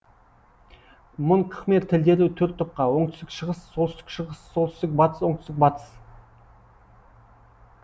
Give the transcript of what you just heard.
мон кхмер тілдері төрт топқа оңтүстік шығыс солтүстік шығыс солтүстік батыс оңтүстік батыс